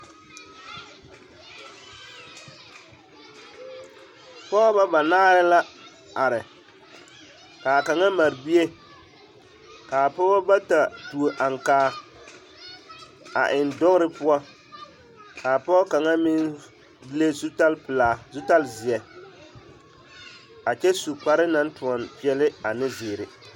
Pɔgebɔ banaare la are k'a kaŋa mare bie k'a pɔgebɔ bata tuo aŋkaa a eŋ dogere poɔ k'a pɔgɔ kaŋa meŋ le zutalpelaa zutalzeɛ a kyɛ su kparoŋ naŋ toɔne peɛle ane zeere.